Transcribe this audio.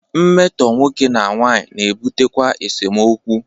Mmetọ nwoke na nwanyị na ebutekwa esemokwu.